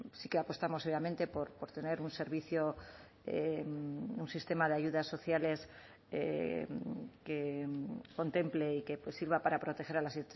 sí que apostamos obviamente por tener un servicio un sistema de ayudas sociales que contemple y que sirva para proteger a las